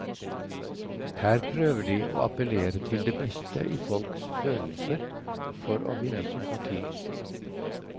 Her prøver de å appellere til det beste i folks følelser for å vinne sympati.